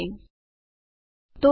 તો આગળના ભાગમાં મળીશું